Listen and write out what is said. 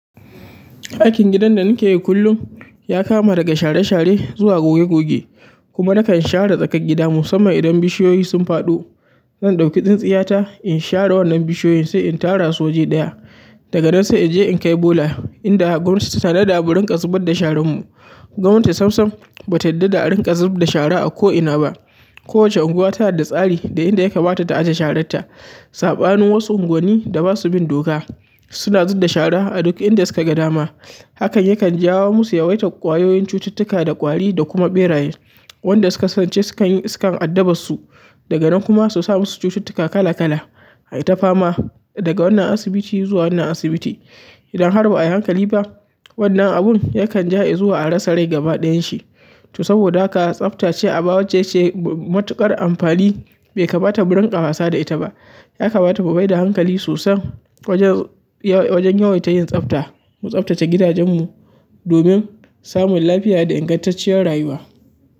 Aikin gidan da na ke yi kullum ya kama daga share share zuwa goge goge kuma na kan share tsakar gida musamman idan bishiyoyi sun faɗo. Zan ɗauki tsintsiyata in share wannan bishiyoyin sai in tara su waje ɗaya daga nan sai in je in kai bola inda gwamnati ta tanada murinƙa zubad da sharan mu. Gwamnati samsam bata yadda da a rinƙa zubda shara a ko ina ba. Ko wace unguwa tana da tsari da inda ya kamata ta aje sharatta saɓanin wasu unguwanni da basu bin doka suna zudda shara a duk inda suka ga dama. Hakan yakan jawo musu yawaitar ƙwayoyin cututtuka da ƙwari da kuma ɓeraye. Wanda su kasance sukan yi iskan addabas su daga nan kuma su sa masu cututtuka kala kala. Ai ta fama daga wannan asibiti zuwa wannan asibiti. Idan har ba ai hankali ba wannan abun yakan ja i zuwa a rasa rai gaba ɗayan shi. To saboda haka tsaftace aba waccece matuƙar amfani bai kamata mu rinƙa wasa da ita ba. Ya kamata mu maida hankali sosai wajen ya wajen yawaita yin tsabta mu tsabtace gidajenmu domin samun lafiya da ingantacciyar rayuwa.